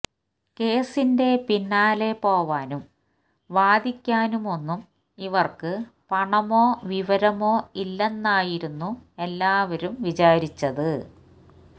കേസിന്റെ പിന്നാലെ പോവാനും വാദിക്കാനുമൊന്നും ഇവർക്ക് പണമോ വിവരമോ ഇല്ലെന്നായിരുന്നു എല്ലാവരും വിചാരിച്ചത്